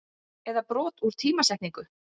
eða brot úr tímasetningu.